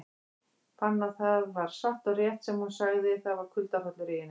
Fann að það var satt og rétt sem hún sagði, það var kuldahrollur í henni.